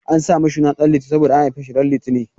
An sa mishi suna Ɗan Liti saboda an haife shi ran litinin.